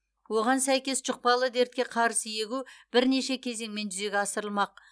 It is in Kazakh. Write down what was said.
оған сәйкес жұқпалы дертке қарсы егу бірнеше кезеңмен жүзеге асырылмақ